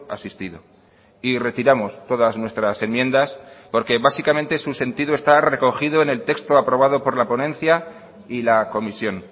asistido y retiramos todas nuestras enmiendas porque básicamente su sentido está recogido en el texto aprobado por la ponencia y la comisión